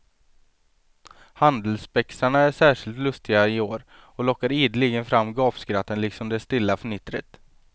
Handelsspexarna är särskilt lustiga i år och lockar ideligen fram gapskratten liksom det stilla fnittret.